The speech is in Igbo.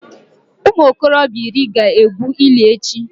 Ụmụ okorobịa iri ga-egwu ili echi